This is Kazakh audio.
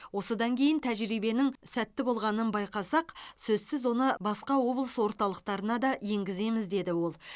осыдан кейін тәжірибенің сәтті болғанын байқасақ сөзсіз оны басқа облыс орталықтарына да енгіземіз деді ол